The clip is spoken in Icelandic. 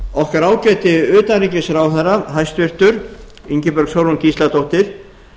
okkar ágæti utanríkisráðherra hæstvirtur ingibjörg sólrún gísladóttir